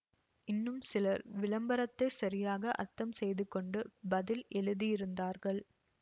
இன்னும் சிலர் விளம்பரத்தைச் சரியாக அர்த்தம் செய்து கொண்டு பதில் எழுதியிருந்தார்கள்